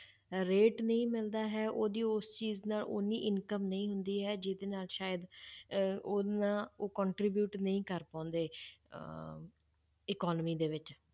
Rate ਨਹੀਂ ਮਿਲਦਾ ਹੈ ਉਹਦੀ ਉਸ ਚੀਜ਼ ਨਾਲ ਓਨੀ income ਨਹੀਂ ਹੁੰਦੀ ਹੈ ਜਿਹਦੇ ਨਾਲ ਸ਼ਾਇਦ ਅਹ ਓਨਾ ਉਹ contribute ਨਹੀਂ ਕਰ ਪਾਉਂਦੇ ਅਹ economy ਦੇ ਵਿੱਚ